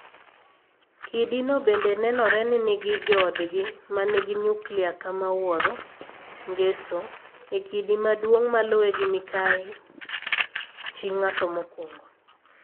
Kidino bende nenore ni nigi joodgi ma nigi nyuklia kama wuoro (Ngeso) e kidi maduong' maluwe gi Mikayi (chi ng'ato mokwongo),